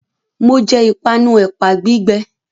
Mo jẹ ìpanu ẹ̀pà gbígbẹ